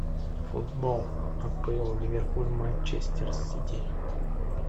футбол апл ливерпуль манчестер сити